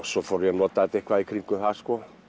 svo fór ég að nota þetta eitthvað í kringum það